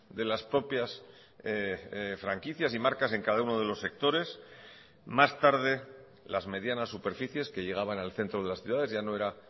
de las propias franquicias y marcas en cada uno de los sectores más tarde las medianas superficies que llegaban al centro de las ciudades ya no era